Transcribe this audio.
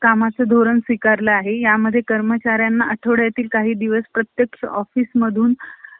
कामाचे धोरण स्वीकारले आहे . ह्या मध्ये काही कर्मचाऱ्यांना प्रत्यक्ष office मधून ,